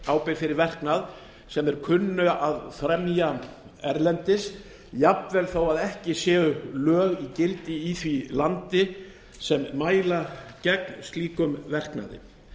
ábyrgð fyrir verknað sem þeir kunnu að fremja erlendis jafnvel þó ekki séu lög í gildi í því landi sem mæla gegn slíkum verknaði